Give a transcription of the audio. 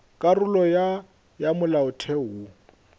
karolo ya ya molaotheo wo